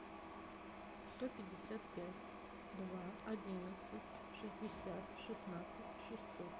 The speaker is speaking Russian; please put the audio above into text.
сто пятьдесят пять два одиннадцать шестьдесят шестнадцать шестьсот